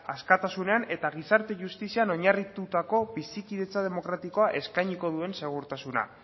askatasunean eta gizarte justizia oinarritutako bizikidetza demokratikoa eskainiko duen segurtasuna